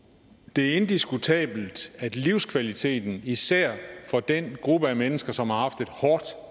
det er indiskutabelt at livskvaliteten især for den gruppe af mennesker som har haft et hårdt